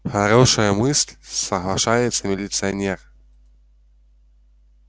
хорошая мысль соглашается милиционер